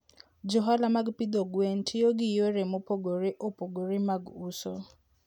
Jo ohala mag pidho gwen tiyo gi yore mopogore opogore mag uso.